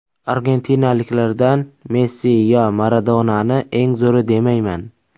Argentinaliklardan Messi yo Maradonani eng zo‘ri demayman.